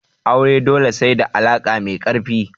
Aure dole sai da alaka mai karfi.